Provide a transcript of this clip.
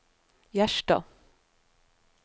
Gjerstad